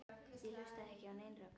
Ég hlustaði ekki á nein rök.